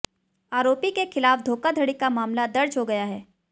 आरोपी के खिलाफ धोखाधड़ी का मामला दर्ज हो गया है